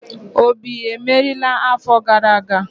Obi emeriela afo gara aga?